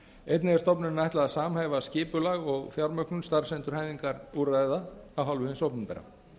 einnig er stofnuninni ætla að samhæfa skipulag og fjármögnun starfsendurhæfingarúrræða af hálfu hins opinbera